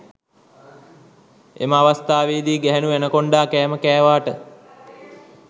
එම අවස්ථාවේදී ගැහැණු ඇනකොන්ඩා කෑම කෑවාට